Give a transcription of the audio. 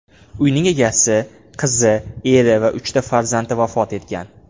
Uyning egasi, qizi, eri va uchta farzandi vafot etgan.